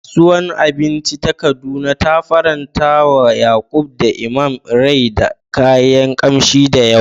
Kasuwar abinci ta Kaduna ta farantawa Yakub da Imam rai da kayan kamshi da yawa.